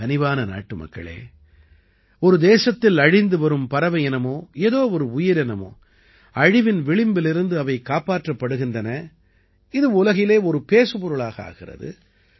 என் கனிவான நாட்டுமக்களே ஒரு தேசத்தில் அழிந்து வரும் பறவையினமோ ஏதோ ஒரு உயிரினமோ அழிவின் விளிம்பிலிருந்து அவை காப்பாற்றப்படுகிறன இது உலகிலே பேசுபொருளாக ஆகிறது